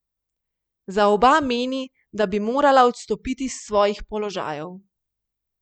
Za oba meni, da bi morala odstopiti s svojih položajev.